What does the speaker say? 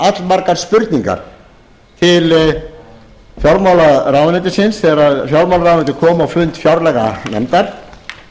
allmargar spurningar til fjármálaráðuneytisins þegar fjármálaráðuneytið kom á fund fjárlaganefndar